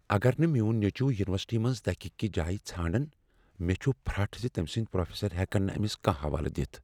اگر نہٕ میٛون نیٚچو ینیورسٹی منٛز تحقیقی جایہ ژھانٛڑان، مےٚ چُھ فرٚٹھ زِ تٔمۍ سنٛدۍ پروفیسر ہٮ۪کن نہٕ أمِس کانٛہہ حوالہٕ دِتھ۔